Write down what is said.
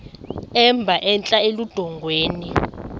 emba entla eludongeni